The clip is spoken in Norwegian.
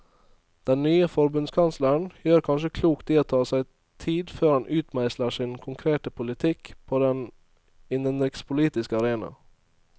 Den nye forbundskansleren gjør kanskje klokt i å ta seg tid før han utmeisler sin konkrete politikk på den innenrikspolitiske arena.